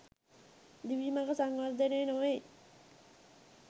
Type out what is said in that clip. දිවි මඟ සංවර්ධනය නොවෙයි.